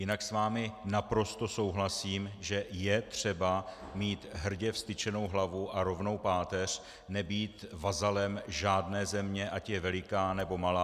Jinak s vámi naprosto souhlasím, že je třeba mít hrdě vztyčenou hlavu a rovnou páteř, nebýt vazalem žádné země, ať je veliká, nebo malá.